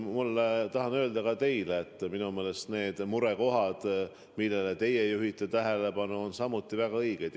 Ma tahan öelda ka teile, et minu meelest need murekohad, millele teie juhtisite tähelepanu, on samuti väga õiged.